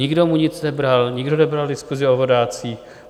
Nikdo mu nic nebral, nikdo nebral diskusi o vodácích.